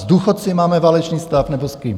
S důchodci máme válečný stav, nebo s kým?